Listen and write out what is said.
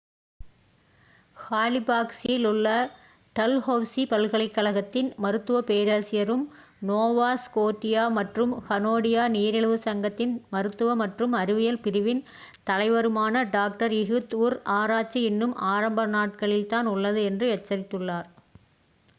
ஹாலிஃபாக்ஸில் உள்ள டல்ஹெளசி பல்கலைக்கழகத்தின் மருத்துவப் பேராசிரியரும் நோவா ஸ்கோட்டியா மற்றும் கனேடிய நீரிழிவு சங்கத்தின் மருத்துவ மற்றும் அறிவியல் பிரிவின் தலைவருமான டாக்டர் இஹுத் உர் ஆராய்ச்சி இன்னும் ஆரம்ப நாட்களில்தான் உள்ளது என்று எச்சரித்துள்ளார்